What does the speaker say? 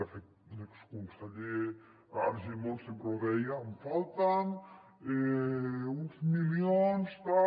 de fet l’exconseller argimon sempre ho deia em falten uns milions tal